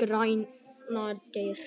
gránar.